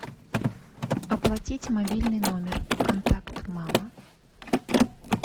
оплатить мобильный номер контакт мама